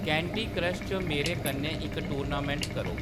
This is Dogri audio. कैंडी क्रश च मेरे कन्नै इक टूर्नामेंट करो